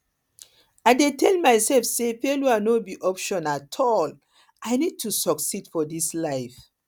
i dey tell myself say failure no be option at all i need to succeed for this life